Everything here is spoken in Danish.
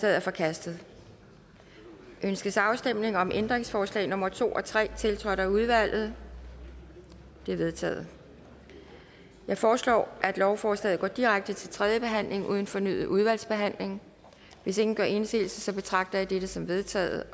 er forkastet ønskes afstemning om ændringsforslag nummer to og tre tiltrådt af udvalget de er vedtaget jeg foreslår at lovforslaget går direkte til tredje behandling uden fornyet udvalgsbehandling hvis ingen gør indsigelse betragter jeg dette som vedtaget